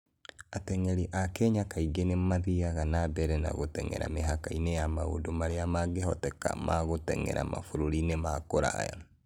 Ateng'eri a Kenya kaingĩ nĩ mathiaga na mbere na gũteng'era mĩhaka ya maũndũ marĩa mangĩhoteka ma gũteng'era mabũrũri ma kũraya.